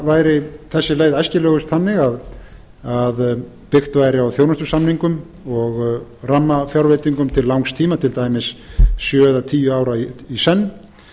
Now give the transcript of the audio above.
væri þessi leið æskilegust þannig að byggt væri á þjónustusamningum og rammafjárveitingum til langs tíma til dæmis sjö eða tíu ára í senn